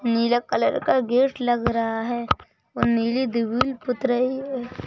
नीला colour का gate लग रहा है औ नीली दिवुल पुत रही रही है।